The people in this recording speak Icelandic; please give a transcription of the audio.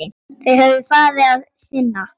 Ég hef öðru að sinna.